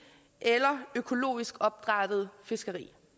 eller økologisk opdrættet fiskeri